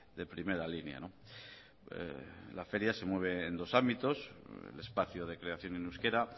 de primera línea la feria se mueve en dos ámbitos el espacio de creación en euskera